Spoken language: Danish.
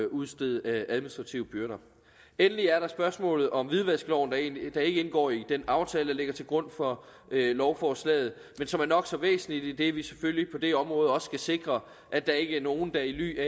udstede administrative bøder endelig er der spørgsmålet om hvidvaskloven der ikke indgår i den aftale der ligger til grund for lovforslaget men som er nok så væsentlig idet vi selvfølgelig på det område også skal sikre at der ikke er nogen der i ly af